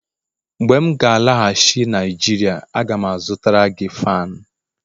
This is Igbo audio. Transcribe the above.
mgbe m ga-alaghachi Naijiria, a ga m azụtara gị fan